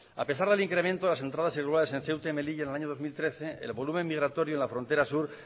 a pesar del incremento de las entradas irregulares en ceuta y melilla en el año dos mil trece el volumen migratorio en la frontera sur